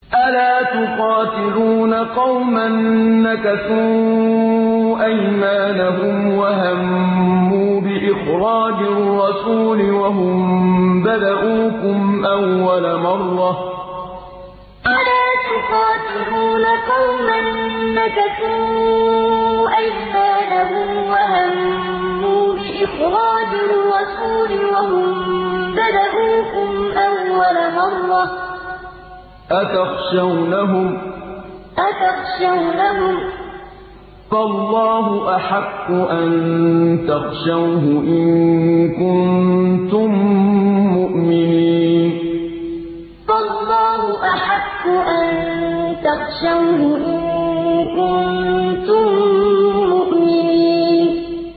أَلَا تُقَاتِلُونَ قَوْمًا نَّكَثُوا أَيْمَانَهُمْ وَهَمُّوا بِإِخْرَاجِ الرَّسُولِ وَهُم بَدَءُوكُمْ أَوَّلَ مَرَّةٍ ۚ أَتَخْشَوْنَهُمْ ۚ فَاللَّهُ أَحَقُّ أَن تَخْشَوْهُ إِن كُنتُم مُّؤْمِنِينَ أَلَا تُقَاتِلُونَ قَوْمًا نَّكَثُوا أَيْمَانَهُمْ وَهَمُّوا بِإِخْرَاجِ الرَّسُولِ وَهُم بَدَءُوكُمْ أَوَّلَ مَرَّةٍ ۚ أَتَخْشَوْنَهُمْ ۚ فَاللَّهُ أَحَقُّ أَن تَخْشَوْهُ إِن كُنتُم مُّؤْمِنِينَ